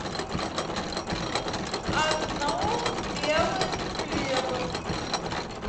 одну белую хлеба